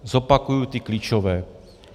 Zopakuji ty klíčové.